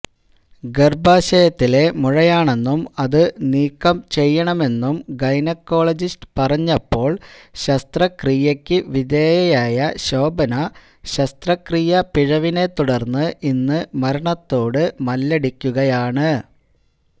ഗർഭാശയത്തിലെ മുഴയാണെന്നും അതു നീക്കം ചെയ്യണമെന്നും ഗൈനക്കോളജിസ്റ്റ് പറഞ്ഞപ്പോൾ ശസ്്ത്രക്രിയയ്ക്കു വിധേയയായ ശോഭന ശസ്ത്രക്രിയാ പഴവിനെത്തുടർന്ന് ഇന്നു മരണത്തോട് മല്ലടിക്കുകയാണ്